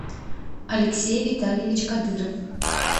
алексей витальевич кадыров